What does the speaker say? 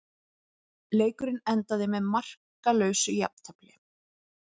Leikurinn endaði með markalausu jafntefli